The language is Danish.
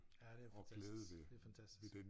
Ja det fantastisk det fantastisk